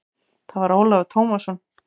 Það var Ólafur Tómasson.